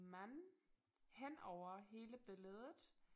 Mand henover hele billedet